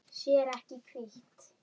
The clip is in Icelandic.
Sér ekki í hvítt.